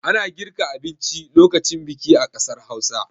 Ana girka abinci lokacin biki a ƙasar Hausa.